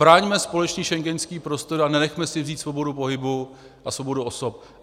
Braňme společný schengenský prostor a nenechme si vzít svobodu pohybu a svobodu osob.